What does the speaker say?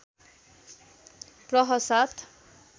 प्रह ७